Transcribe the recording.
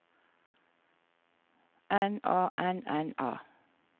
N A N N A